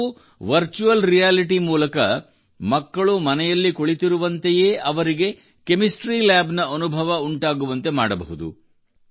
ನಾವು virtual reality ಮೂಲಕ ಮಕ್ಕಳು ಮನೆಯಲ್ಲಿ ಕುಳಿತಿರುವಂತೆಯೇ ಅವರಿಗೆ ಕೆಮಿಸ್ಟ್ರಿ ಲ್ಯಾಬ್ ನ ಅನುಭವ ಉಂಟಾಗುವಂತೆ ಮಾಡಬಹುದು